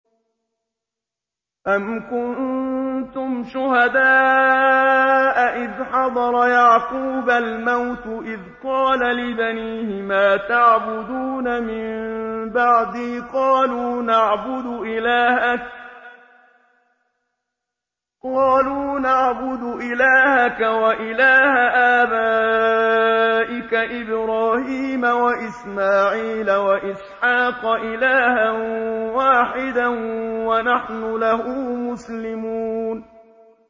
أَمْ كُنتُمْ شُهَدَاءَ إِذْ حَضَرَ يَعْقُوبَ الْمَوْتُ إِذْ قَالَ لِبَنِيهِ مَا تَعْبُدُونَ مِن بَعْدِي قَالُوا نَعْبُدُ إِلَٰهَكَ وَإِلَٰهَ آبَائِكَ إِبْرَاهِيمَ وَإِسْمَاعِيلَ وَإِسْحَاقَ إِلَٰهًا وَاحِدًا وَنَحْنُ لَهُ مُسْلِمُونَ